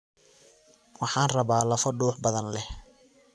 Waxaan rabaa lafo duux badan leh